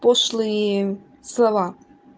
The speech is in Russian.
пошлые слова